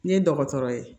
Ne ye dɔgɔtɔrɔ ye